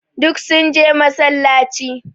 Duk sun je massalaci.